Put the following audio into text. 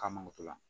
K'a mangoro to la